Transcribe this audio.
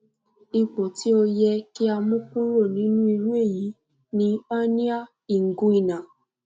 ipo ti o yẹ ki a mu kuro ninu iru eyi ni hernia inguinal